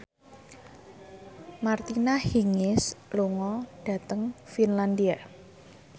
Martina Hingis lunga dhateng Finlandia